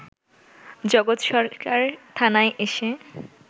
জগৎ সরকার থানায় এসে